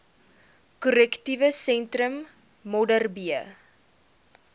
korrektiewe sentrum modderbee